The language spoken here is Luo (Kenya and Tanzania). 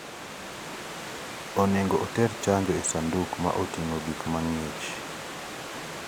Onego oter chanjo e sanduk ma oting'o gik mang'ich (coolbox).